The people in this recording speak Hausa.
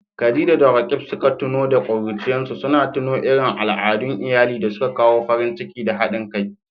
Khadija da Roqeeb suka tuno da ƙuruciyarsu, suna tuno irin al'adun iyali da suka kawo farin ciki da haɗin kai.